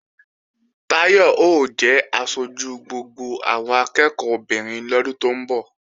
Táyọ̀ ó jẹ aṣojú gbogbo àwọn akẹ́ẹ̀kọ́ obìnrin lọ́dún tó ń bọ̀